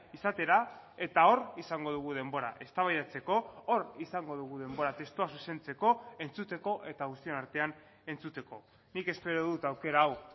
izatera eta hor izango dugu denbora eztabaidatzeko hor izango dugu denbora testua zuzentzeko entzuteko eta guztion artean entzuteko nik espero dut aukera hau